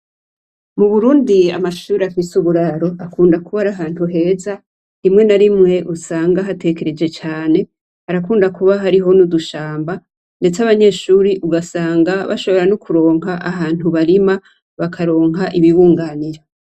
Mu Burundi amashure afise uburaro akunda kuba ari ahantu heza, rimwe na rimwe usanga hatekereje cane, harakunda kuba hariho nudushamba ndetse abanyeshuri ugasanga bashobora nokuronka ahantu barima bakaronka ibibunganiro.